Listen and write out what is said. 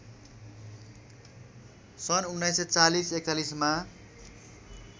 सन् १९४० ४१ मा